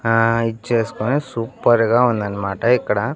ఆ ఇచ్చేస్కొని సూపర్ గా ఉందన్మాట ఇక్కడ.